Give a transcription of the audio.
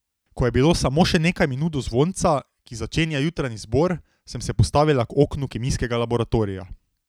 Ko je bilo samo še nekaj minut do zvonca, ki začenja jutranji zbor, sem se postavila k oknu kemijskega laboratorija.